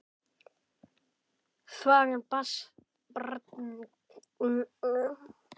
Þvagan barst skvaldrandi og æst niður eftir tanganum.